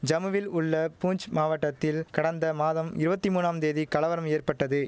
ஜம்முவில் உள்ள பூஞ்ச் மாவட்டத்தில் கடந்த மாதம் இருவத்தி மூனாம் தேதி கலவரம் ஏற்பட்டதெ